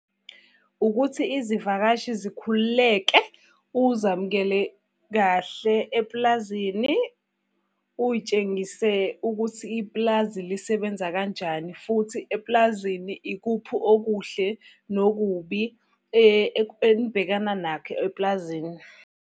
Ukuthi izivakashi zikhululeke, uzamukele kahle epulazini, uy'tshengise ukuthi ipulazi lisebenza kanjani futhi epulazini ikuphi okuhle nokubi enibhekana nakho epulazini.